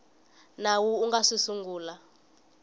nawu wu nga si sungula